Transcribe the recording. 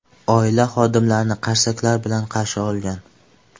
Oila xodimlarni qarsaklar bilan qarshi olgan.